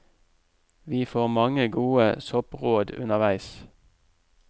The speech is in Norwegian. Vi får mange gode soppråd underveis.